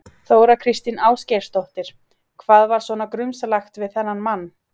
Þóra Kristín Ásgeirsdóttir: Hvað var svona grunsamlegt við þennan mann?